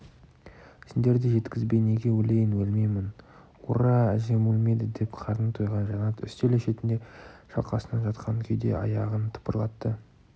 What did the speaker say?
сендерді жеткізбей неге өлейін өлмеймін ур-ра әжем өлмейді деп қарны тойған жанат үстел шетінде шалқасынан жатқан күйде аяғын тыпырлатты